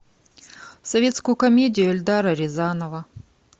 советскую комедию эльдара рязанова